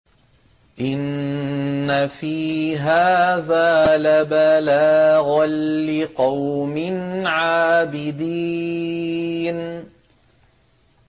إِنَّ فِي هَٰذَا لَبَلَاغًا لِّقَوْمٍ عَابِدِينَ